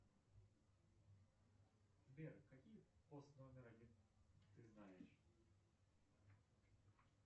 сбер какие пост номер один ты знаешь